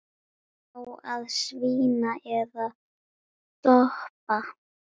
Á að svína eða toppa?